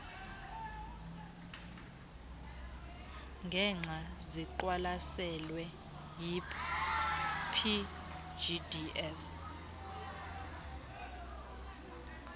ngexa ziqwalaselwe yipgds